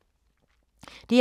DR2